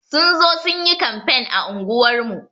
Sun zo sun yi kamfen a unguwar mu.